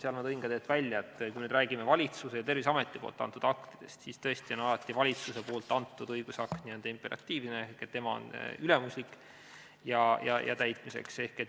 Seal ma tõin ka välja, et kui me räägime valitsuse ja Terviseameti antud aktidest, siis on alati valitsuse antud õigusakt n-ö imperatiivne ehk ülemuslik ja täitmiseks.